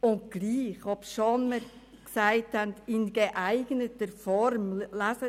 Trotz allem und obwohl wir «[...] in geeigneter Form [